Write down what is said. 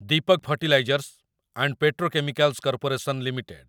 Deepak fertilizers and petrochemicals corporation limited